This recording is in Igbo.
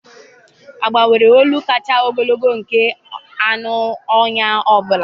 Agba nwere olu kacha ogologo nke anụ ọhịa ọ bụla.